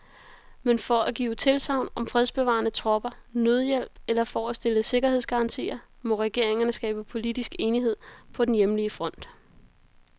Men, for at give tilsagn om fredsbevarende tropper, nødhjælp eller for at stille sikkerhedsgarantier, må regeringerne skabe politisk enighed på den hjemlige front.